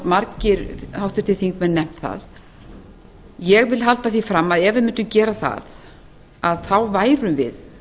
margir háttvirtir þingmenn hafa nefnt það ég held því fram að ef við mundum gera það væri